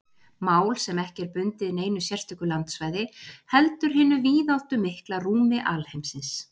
Mál sem ekki er bundið neinu sérstöku landsvæði heldur hinu víðáttumikla rúmi alheimsins.